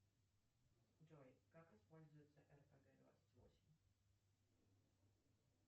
джой как используется рпг двадцать восемь